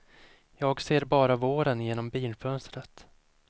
Jag ser bara våren genom bilfönstret.